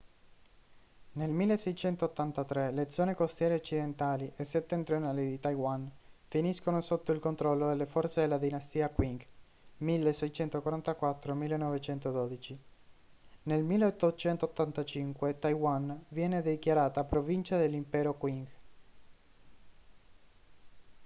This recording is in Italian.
nel 1683 le zone costiere occidentali e settentrionali di taiwan finiscono sotto il controllo delle forze della dinastia qing 1644-1912; nel 1885 taiwan viene dichiarata provincia dell'impero qing